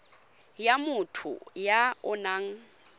ya motho ya o nang